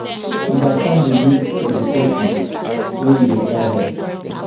understand di need of di person wey you dey try to help